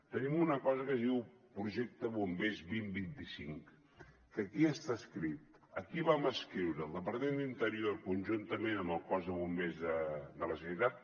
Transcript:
tenim una cosa que diu el projecte bombers dos mil vint cinc que aquí està escrit aquí vam escriure el departament d’interior conjuntament amb el cos de bombers de la generalitat